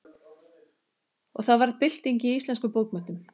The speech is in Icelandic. Og það varð bylting í íslenskum bókmenntum.